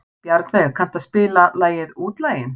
Bjarnveig, kanntu að spila lagið „Útlaginn“?